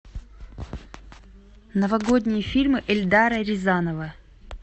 новогодние фильмы эльдара рязанова